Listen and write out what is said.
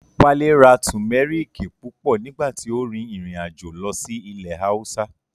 Wálé ra Tùmẹ́rìkì púpọ̀ nígbà tí ó rin ìrìn àjò lọ sí ilẹ̀ Haúsá